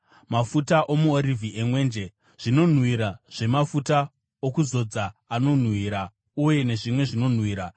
mafuta omuorivhi emwenje; zvinonhuhwira zvemafuta okuzodza anonhuhwira uye nezvimwe zvinonhuhwira;